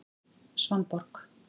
Svanborg